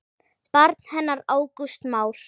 Barn hennar Ágúst Már.